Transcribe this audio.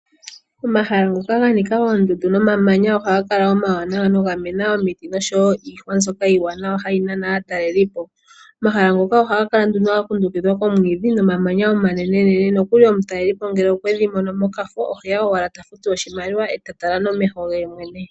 Omahala ngoka ga nika oondundu nomamanya ohaga kala omawanawa noga mena omiti noshowo iihwa mbyoka iiwanawa hayi nana aatalelipo. Omahala ngoka ohaga kala nduno ga kundukidhwa komwiidhi nomamanya omanene nene. Nokuli omutalelipo ngele okwe dhi mono mokafo oheya owala eta futu oshimaliwa eta tala nomeho ge yemwene.